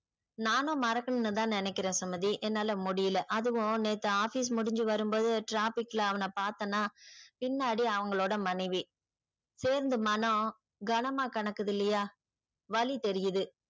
நானும் மறக்கணும்னு தான் நெனைகுறன் சுமதி என்னால முடியல. அதுவும் நேத்து office முடிஞ்சி வரும்போது traffic ல அவன பாத்தனா பின்னாடி அவங்களோட மனைவி சேர்ந்து மனம் கணமா கணக்குதில்லையா வலி தெரியுது.